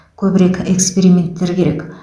көбірек эксперименттер керек